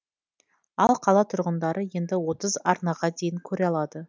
ал қала тұрғындары енді отыз арнаға дейін көре алады